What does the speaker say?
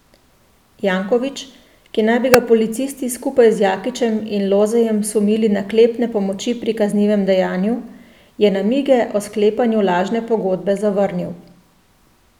Janković, ki naj bi ga policisti skupaj z Jakičem in Lozejem sumili naklepne pomoči pri kaznivem dejanju, je namige o sklepanju lažne pogodbe zavrnil.